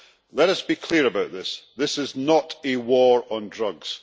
Let us be clear about this this is not a war on drugs.